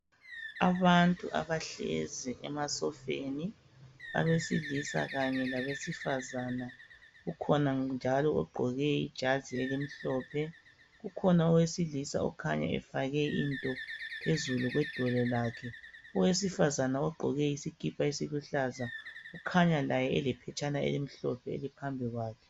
Abantu abahlezi emasofeni. Abesilisa kanye labesifazana. Ukhona njalo ogqoke ijazi elimhlophe. Kukhona owesilisa okhanya efake into, phezulu kwedolo lakhe. Owesifazana ogqoke isikipa esiluhlaza, kukhanya laye, elephetshana elimhlophe, eliphambi kwakhe.